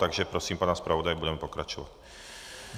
Takže prosím pana zpravodaje, budeme pokračovat.